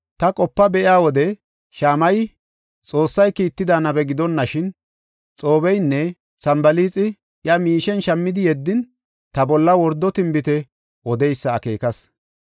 Ta qopa be7iya wode Shamayey Xoossay kiitida nabe gidonashin Xoobeynne Sanbalaaxi iya miishen shammidi yeddin ta bolla wordo tinbite odeysa akeekas.